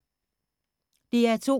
DR2